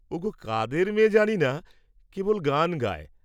ওগো, কাদের মেয়ে জানিনা, কেবল গান গায়।